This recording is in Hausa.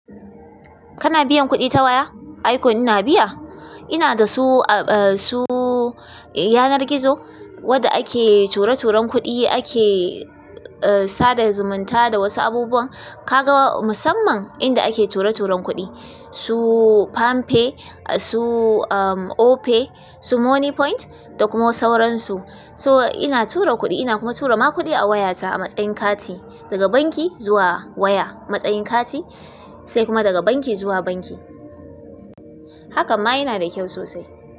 Kana biyan kuɗi ta waya? Ai kon ina biya. Ina da su, su yanar gizo wadda ake ture-turen kuɗi ake sa da zumunta da wasu abubuwa. Ka ga musamman inda ake ture-turen kuɗi su Pam pay, su Opay, su Moniepoint da kuma sauran su. So ina tura kuɗi ina kuma tura ma kuɗi a wayata a matsayin kati daga banki zuwa waya. Matsayin kati sai kuma daga banki zuwa banki. Hakan ma yana da kyau sosai.